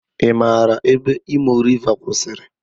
I maara ebe Imo Riva kwụsịrị?